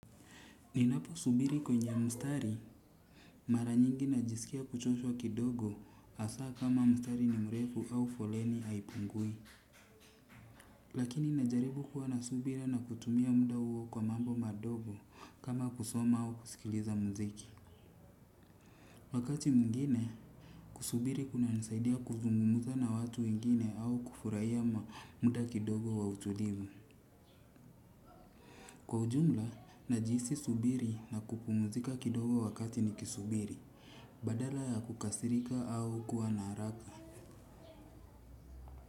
Ninapo subiri kwenye mstari, mara nyingi najisikia kuchoshwa kidogo hasaa kama mstari ni mrefu au foleni haipungui. Lakini najaribu kuwa na subira na kutumia muda huo kwa mambo madogo kama kusoma au kusikiliza muziki. Wakati mwingine, kusubiri kunanisaidia kuzungumuza na watu wengine au kufurahia muda kidogo wa utulivu. Kwa ujumla, najisi subiri na kupumuzika kidogo wakati ni kisubiri. Badala ya kukasirika au kuwa na haraka.